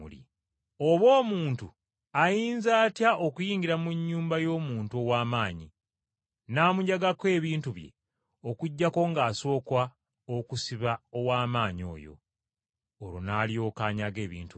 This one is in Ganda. “Oba omuntu ayinza atya okuyingira mu nnyumba y’omuntu ow’amaanyi, n’amunyagako ebintu bye okuggyako ng’asooka okusiba ow’amaanyi oyo? Olwo n’alyoka anyaga ebintu bye.